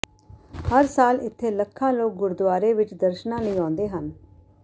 ਹਰ ਸਾਲ ਇੱਥੇ ਲੱਖਾਂ ਲੋਕ ਗੁਰਦੁਆਰੇ ਵਿੱਚ ਦਰਸ਼ਨਾਂ ਲਈ ਆਉਂਦੇ ਹਨ